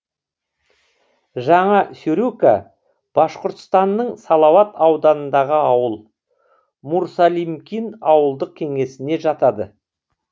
жаңа сюрюка башқұртстанның салауат ауданындағы ауыл мурсалимкин ауылдық кеңесіне жатады